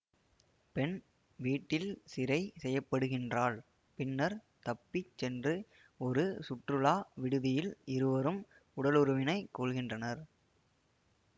பெண் வீட்டில் சிறை செய்யப்படுகின்றாள் பின்னர் தப்பி சென்று ஒரு சுற்றுலா விடுதியில் இருவரும் உடலுறவினை கொள்கின்றனர்